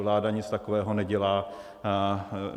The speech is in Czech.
Vláda nic takového nedělá.